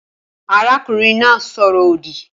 Arákùnrin náà sọ̀rọ̀-òdì